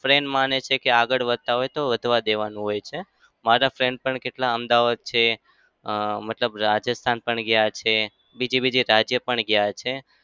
friend માને છે કે આગળ વધતા હોય તો વધવા દેવાનું હોય છે. મારા friends પણ કેટલા અમદાવાદ છે. અમ મતલબ રાજસ્થાન પણ ગયા છે. બીજે બીજે રાજ્ય પણ ગયા છે.